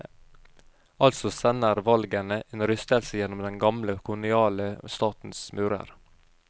Altså sender valgene en rystelse gjennom den gamle koloniale statens murer.